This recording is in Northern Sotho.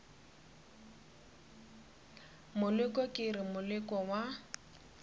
moleko ke re moleko wa